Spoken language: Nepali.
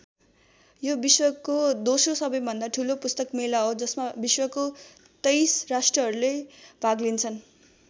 यो विश्वको दोस्रो सबैभन्दा ठूलो पुस्तक मेला हो जसमा विश्वको २३ राष्ट्रहरूले भाग लिन्छन्।